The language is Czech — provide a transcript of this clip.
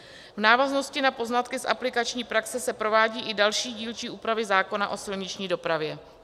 V návaznosti na poznatky z aplikační praxe se provádějí i další dílčí úpravy zákona o silniční dopravě.